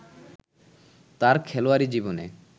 তার খেলোয়াড়ী জীবনে